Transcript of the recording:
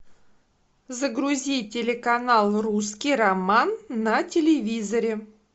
загрузи телеканал русский роман на телевизоре